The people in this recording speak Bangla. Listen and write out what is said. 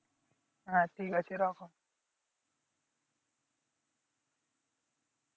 হ্যাঁ ঠিক আছে রাখো।